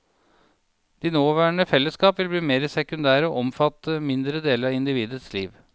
De nåværende fellesskap vil bli mer sekundære og omfatte mindre deler av individets liv.